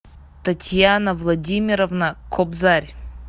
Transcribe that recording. татьяна владимировна кобзарь